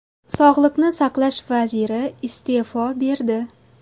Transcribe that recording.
Sog‘liqni saqlash vaziri iste’fo berdi.